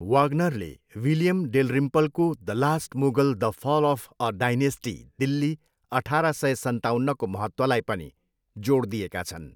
वाग्नरले William डेलरिम्पलको 'the last Mughal, the fall of a dynasty, Delhi अठाह्र सय सन्ताउन्नको महत्त्वलाई पनि जोड दिएका छन्।